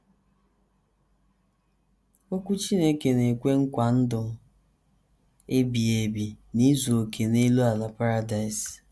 Okwu Chineke na - ekwe nkwa ndụ ebighị ebi n’izu okè n’elu ala paradaịs